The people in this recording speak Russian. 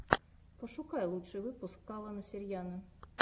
пошукай лучший выпуск калона сарьяно